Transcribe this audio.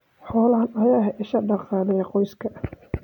Xoolahan ayaa ah isha dhaqaale ee qoyska.